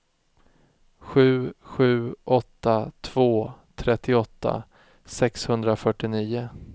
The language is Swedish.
sju sju åtta två trettioåtta sexhundrafyrtionio